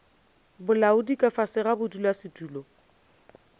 bolaodi ka fase ga bodulasetulo